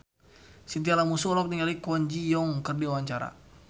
Chintya Lamusu olohok ningali Kwon Ji Yong keur diwawancara